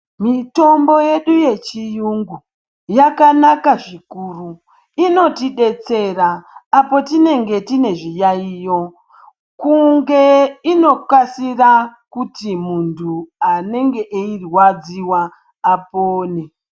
Mitombo yedu yechiyungu yakanaka zvikuru. Inotidetsera apo tinenge tine zviyaiyo, kunge, inokasira kuti muntu anenge eirwadziwa apone.